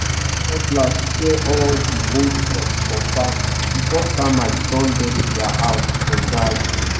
use cutlass clear all di old stalks for farm before termites turn dem to dia house for dry season.